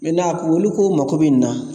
olu k'u mago bɛ nin na